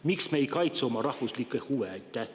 Miks me ei kaitse oma rahvuslikke huve?